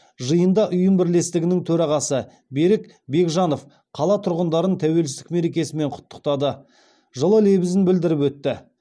жиында ұйым бірлестігінің төрағасы берік бекжанов қала тұрғындарын тәуелсіздік мерекесімен құттықтады жылы лебізін білдіріп өтті